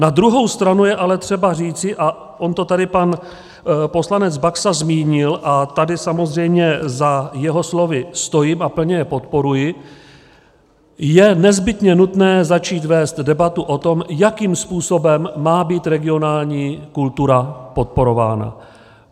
Na druhou stranu je ale třeba říci - a on to tady pan poslanec Baxa zmínil, a tady samozřejmě za jeho slovy stojím a plně je podporuji - je nezbytně nutné začít vést debatu o tom, jakým způsobem má být regionální kultura podporována.